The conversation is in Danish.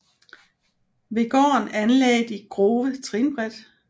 Ved gården anlagde de Grove trinbræt